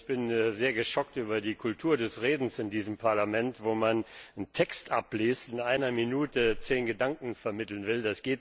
Ich bin sehr geschockt über die Kultur des Redens in diesem Parlament, wo man einen Text abliest, in einer Minute zehn Gedanken vermitteln will.